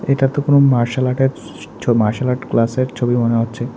এটা তো কোনো মার্শাল আর্টের মার্শাল আর্ট ক্লাসের ছবি মনে হচ্ছে।